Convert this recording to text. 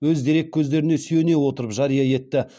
өз дереккөздеріне сүйене отырып жария етті